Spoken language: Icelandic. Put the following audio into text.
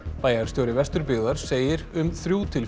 bæjarstjóri Vesturbyggðar segir um þrjú til